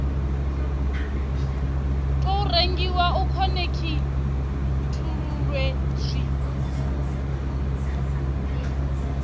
tou rengiwa u khonekhithululwe zwi